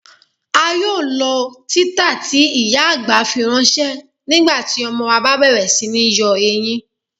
À yóò lọ̀ titàá tí ìyá-àgbà fíranṣẹ̀ nígbàtí ọmọ wa bá bẹ̀rẹ̀ sí ní yọ eyin.